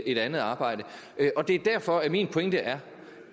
et andet arbejde det er derfor at min pointe er